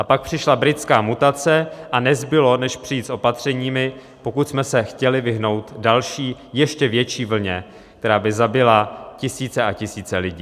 A pak přišla britská mutace a nezbylo než přijít s opatřeními, pokud jsme s chtěli vyhnout další ještě větší vlně, která by zabila tisíce a tisíce lidí.